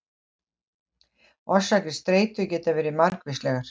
Orsakir streitu geta verið margvíslegar.